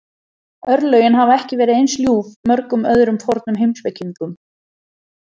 Örlögin hafa ekki verið eins ljúf mörgum öðrum fornum heimspekingum.